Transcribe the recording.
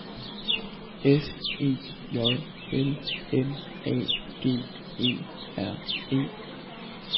S E J L M A G E R E